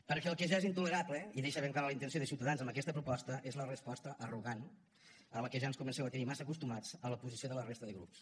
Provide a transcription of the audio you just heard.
perquè el que ja és intolerable i deixa ben clara la intenció de ciutadans amb aquesta proposta és la resposta arrogant a la qual ja ens comenceu a tenir massa acostumats a la posició de la resta de grups